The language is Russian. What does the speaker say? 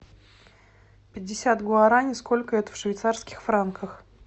пятьдесят гуарани сколько это в швейцарских франках